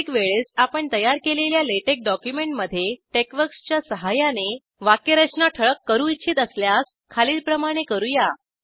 प्रत्येक वेळेस आपण तयार केलेल्या लॅटेक्स डॉक्युमेंटमध्ये टेक्सवर्क्स च्या सहाय्याने वाक्यरचना ठळक करू इच्छित असल्यास खालीलप्रमाणे करू या